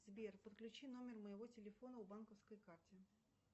сбер подключи номер моего телефона к банковской карте